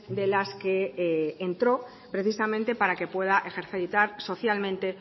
de las que entró precisamente para que pueda ejercitar socialmente